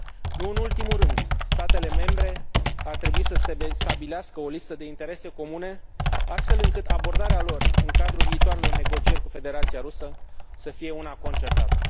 Nu în ultimul rând, statele membre ar trebui să stabilească o listă de interese comune, astfel încât abordarea lor în cadrul viitoarelor negocieri cu Federația Rusă să fie una concertată.